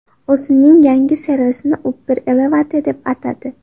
O‘zining yangi servisini Uber Elevate deb atadi.